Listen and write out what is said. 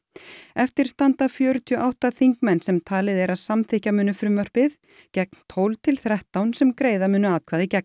eftir standa fjörutíu og átta þingmenn sem talið er að samþykkja muni frumvarpið gegn tólf til þrettán sem greiða munu atkvæði gegn